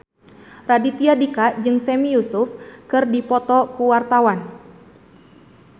Raditya Dika jeung Sami Yusuf keur dipoto ku wartawan